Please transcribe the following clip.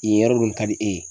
Yen yɔrɔ dun ka di e ye